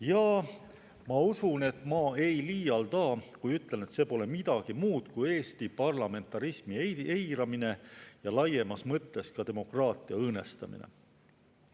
Ja ma usun, et ma ei liialda, kui ütlen, et see pole midagi muud kui Eesti parlamentarismi eiramine ja laiemas mõttes ka demokraatia õõnestamine.